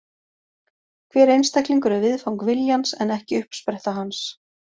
Hver einstaklingur er viðfang viljans en ekki uppspretta hans.